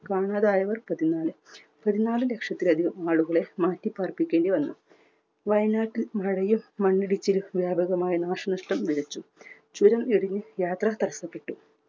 കാണാതായവർ പതിനാല്. പതിനാല് ലക്ഷത്തിലധികം ആളുകളെ മാറ്റി പാർപ്പിക്കേണ്ടി വന്നു. വയനാട്ടിൽ മഴയും മണ്ണിടിച്ചിലും വ്യാപകമായ നാശനഷ്ടം വിതച്ചു. ചുരം ഇടിഞ്ഞു യാത്ര തടസ്സപ്പെട്ടു.